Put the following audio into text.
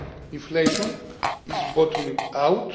Inflation is bottoming